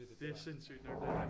Det er sindssygt nok